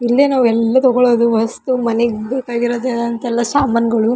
ಇಲ್ಲಿ ನಾವು ಎಲ್ಲ ತಗೊಳುದು ಹೊಸ್ತು ಮನೆಗ್ ಬೇಕಾಗಿರುದಂತೆಲ್ಲ ಸಾಮಾನುಗಳು.